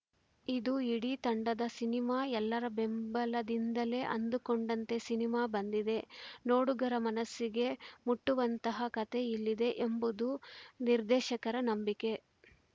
ಇದು ಇಡೀ ತಂಡದ ಸಿನಿಮಾ ಎಲ್ಲರ ಬೆಂಬಲದಿಂದಲೇ ಅಂದುಕೊಂಡಂತೆ ಸಿನಿಮಾ ಬಂದಿದೆ ನೋಡಗರ ಮನಸ್ಸಿಗೆ ಮುಟ್ಟುವಂತಹ ಕತೆ ಇಲ್ಲಿದೆ ಎಂಬುದು ನಿರ್ದೇಶಕರ ನಂಬಿಕೆ